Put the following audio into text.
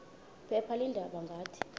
phepha leendaba ngathi